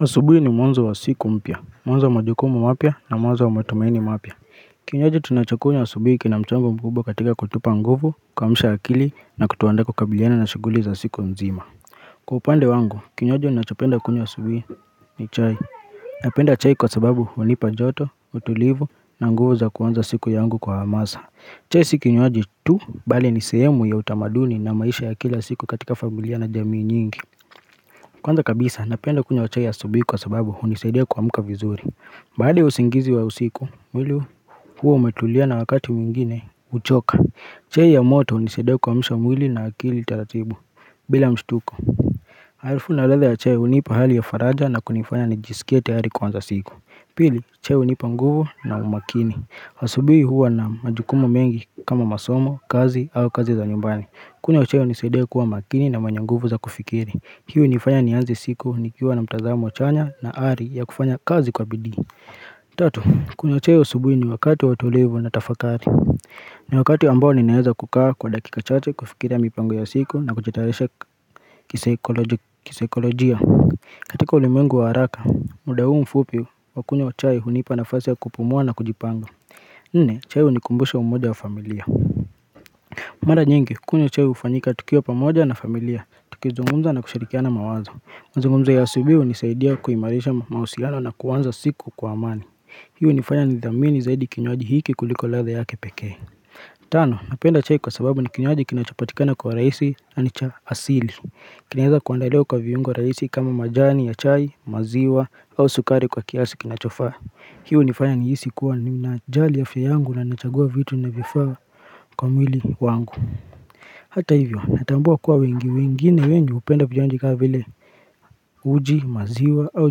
Asubuhi ni mwanzo wa siku mpya, mwanzo wa majukumu mapya na mwanzo wa matumaini mapya Kinywaji tunachakunywa asubuhi kina mchango mkubwa katika kutupa nguvu kuamsha akili na kutuandaa kukabiliana na shughuli za siku nzima Kwa upande wangu, kinywaji ninachapenda kunywa asubuhi ni chai Napenda chai kwa sababu huanipa joto, utulivu na nguvu za kuanza siku yangu kwa hamasa chai sio kinywaji tu, bali ni sehemu ya utamaduni na maisha ya kila siku katika familia na jamii nyingi Kwanza kabisa napenda kunywa chai ya asubuhi kwa sababu hunisaidia kuamka vizuri baada ya usingizi wa usiku wili huwa umetulia na wakati mwingine huchoka chai ya moto hunisaidia kuamsha mwili na akili taratibu bila mshutuko Harufu na ladha ya chai hunipa hali ya faraja na kunifanya nijisikie tayari kuanza siku Pili chai hunipa nguvu na umakini asubuhii huwa na majukumu mengi kama masomo, kazi au kazi za nyumbani kunywa chai hunisidia kuwa makini na mwenye nguvu za kufikiri huwa inifanya nianze siku nikiwa na mtazamo chanya na ari ya kufanya kazi kwa bidii Tatu, kunywa chai asubuhi ni wakati wa utulivu na tafakari ni wakati ambao ninaweza kukaa kwa dakika chache kufikira mipango ya siku na kujitayarisha kisaikolojia katika ulimengu wa haraka, muda huu mfupi wa kunywa chai hunipa nafasi ya kupumua na kujipanga Nne, chai hunikumbusha umoja ya familia Mara nyingi, kunywa hufanyika tukiwa pamoja na familia, tukizungumza na kusharikiana mawazo Muzungumzo ya asubuhi hunisaidia kuimarisha mahusiano na kuanza siku kwa amani Hii hunifanya nithamini zaidi kinywaji hiki kuliko ladha yake pekee Tano, napenda chai kwa sababu ni kinywaji kinachapatikana kwa urahisi na ni cha asili kinaweza kuandaliwa kwa viungo rahisi kama majani ya chai, maziwa au sukari kwa kiasi kinachofaa Hi hunifanya nijihisi kuwa ninajali ya fya yangu na nachagua vitu vinavyofaa kwa mwili wangu Hata hivyo natambua kuwa wengi wengine wenyu hupenda vinywaji kama vile uji maziwa au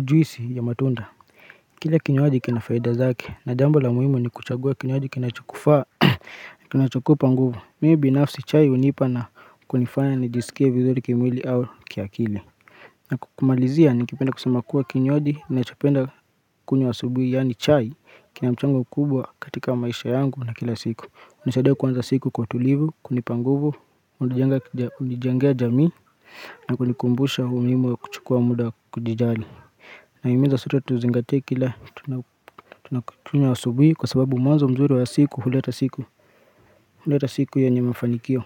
juisi ya matunda Kile kinywaji kina faida zake na jambo la muhimu ni kuchagua kinywaji kinachokufaa Kinachokupa nguvu mimi binafsi chai hunipa na kunifanya nijisikie vizuri kimwili au kiakili na kumalizia ningependa kusema kuwa kinywaji ninachopenda kunywa asubuhi yaani chai kina mchango kubwa katika maisha yangu na kila siku hunisaidia kuanza siku kwa utulivu, kunipa nguvu, hunijengea jamii na kunikumbusha uhumimu wa kuchukuwa muda wa kujijali Nahimiza sote tuzingatie kila tunakunywa asubuhi kwa sababu mwanzo mzuri wa siku huleta siku huleta siku yenye mafanikio.